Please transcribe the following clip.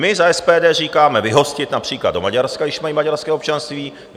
My za SPD říkáme, vyhostit například do Maďarska, když mají maďarské občanství.